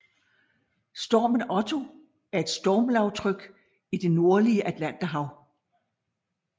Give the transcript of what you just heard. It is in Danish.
Stormen Otto er et stormlavtryk i det nordlige Atlanterhav